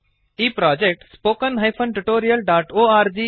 ಈ project httpspoken tutorialorg